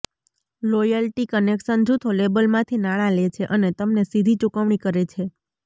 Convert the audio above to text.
royalty collection જૂથો લેબલમાંથી નાણાં લે છે અને તમને સીધી ચુકવણી કરે છે